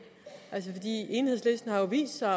enhedslisten har jo vist sig